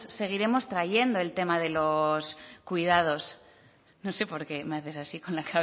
seguiremos trayendo el tema de los cuidados no sé por qué me haces así con la